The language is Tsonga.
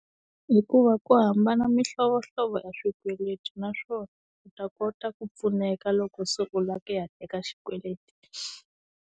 Hikuva ku hambana mihlovohlovo ya swikweleti naswona u ta kota ku pfuneka loko se u la ku ya teka xikweleti.